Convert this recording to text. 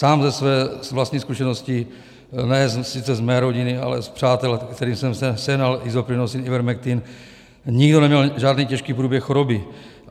Sám ze své vlastní zkušenosti, ne sice z mé rodiny, ale z přátel, kterým jsem sehnal Isoprinosine, Ivermectin, nikdo neměl žádný těžký průběh choroby.